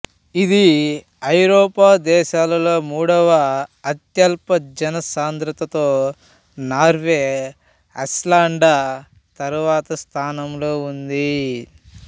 ఇది ఐరోపా దేశాలలో మూడవ అత్యల్ప జన సాంద్రతతో నార్వే ఐస్లాండ్తరువాత స్థానంలో ఉంది